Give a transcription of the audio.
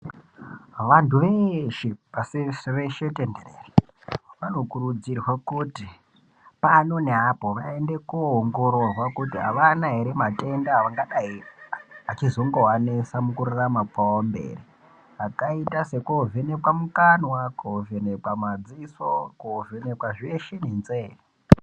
Vantu veshe pasi reshe tenderere vanokurudzirwa kuti pano neapo vaende kuongororwa kuti avana ere matenda angadai achizongovanesa mukurarama kwavo mberi akaita sekovhenekwa mukanwa , kovhenekwa madziso kovhenekwa zveshe nenzee.